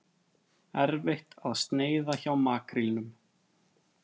Erfitt að sneiða hjá makrílnum